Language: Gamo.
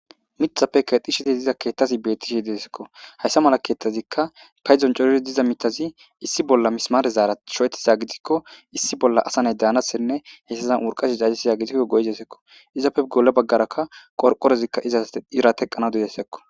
Mithappe kexi sheti diza keettasi beettishe desekko hayssa mala keetazikka payzon coriri diza mitazi issi bolla mismarezaara sho'etiza gidikko issi bolla asa nay daanassenne heessazan wurqashi cajjisiza gitikko goyzesekko izappe golle baggarakka qorqorezikka izas irateqqana didesekko.